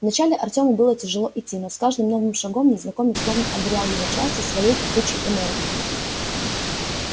вначале артёму было тяжело идти но с каждым новым шагом незнакомец словно одарял его частью своей кипучей энергии